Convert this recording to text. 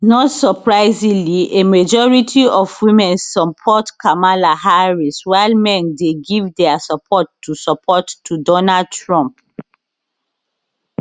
not surprisingly a majority of women support kamala harris while men dey give dia support to support to donald trump